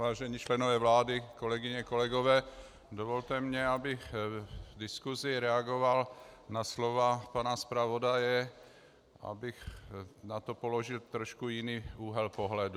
Vážení členové vlády, kolegyně, kolegové, dovolte mi, abych v diskusi reagoval na slova pana zpravodaje, abych na to položil trošku jiný úhel pohledu.